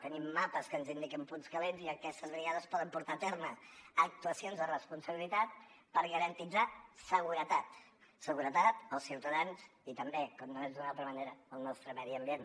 tenim mapes que ens indiquen punts calents i aquestes brigades poden portar a terme actuacions de responsabilitat per garantir seguretat seguretat per als ciutadans i també com no pot ser d’una altra manera del nostre medi ambient